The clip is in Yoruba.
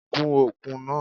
Gun okùn náà!